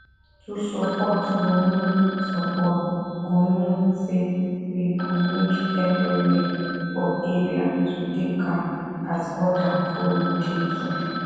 to support go mean support go mean say we go make everywhere for area to dey calm as other follow dey too